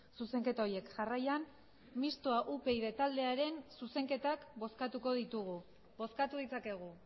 zuzenketa horiek jarraian mistoa upyd taldearen zuzenketak bozkatuko ditugu bozkatu ditzakegu